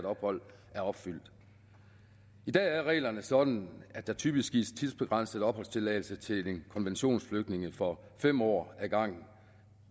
ophold er opfyldt i dag er reglerne sådan at der typisk gives tidsbegrænset opholdstilladelse til konventionsflygtninge for fem år ad gangen